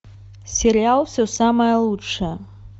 сериал все самое лучшее